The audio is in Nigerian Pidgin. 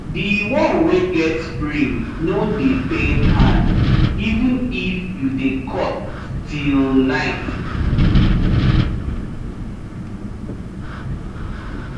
di one wey get spring no dey pain hand even if you dey cut till night